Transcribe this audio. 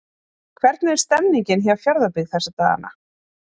Hvernig er stemmningin hjá Fjarðabyggð þessa dagana?